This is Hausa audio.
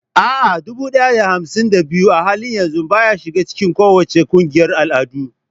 A'a, dubu ɗaya da hamsin da biyu a halin yanzu baya shiga cikin kowace ƙungiyar al'adu.